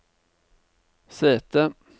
sete